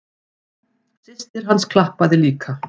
Systir hans klappaði líka.